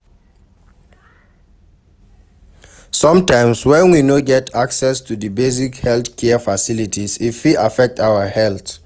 Sometimes when we no get access to di basic health care facilities, e fit affect our health